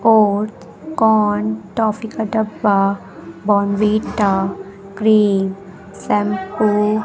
और corn toffee का डब्बा बॉर्नविटा क्रीम शैंपू --